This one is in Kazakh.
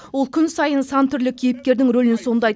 ол күн сайын сан түрлі кейіпкердің ролін сомдайды